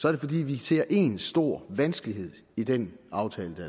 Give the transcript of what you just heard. er det fordi vi ser én stor vanskelighed i den aftale der